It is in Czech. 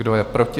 Kdo je proti?